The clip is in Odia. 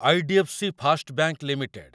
ଆଇ.ଡି.ଏଫ୍‌.ସି. First bank limited